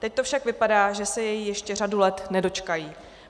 Teď to však vypadá, že se jej ještě řadu let nedočkají.